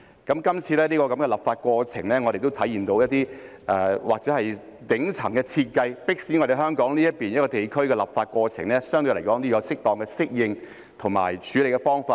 今次的立法過程亦體現到一些或許是頂層的設計，迫使香港這個地區的立法過程相對來說要有適當的適應及處理方法。